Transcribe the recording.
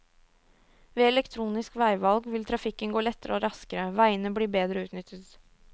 Ved elektronisk veivalg vil trafikken gå lettere og raskere, veiene blir bedre utnyttet.